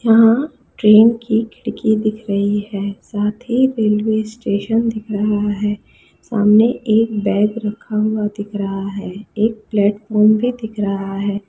यहाँ ट्रेन की खिड़की दिख रही है साथ ही रेलवे स्टेशन दिख रहा है सामने एक बैग रखा हुआ दिख रहा है एक प्लेटफार्म भी दिख रहा है।